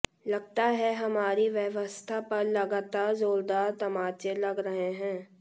लगता है हमारी व्यवस्था पर लगातार जोरदार तमाचे लग रहे हैं